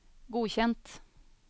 godkjent